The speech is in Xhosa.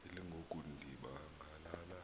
elangoku ndiba ngalala